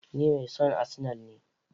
Ni mai son arsenal ne.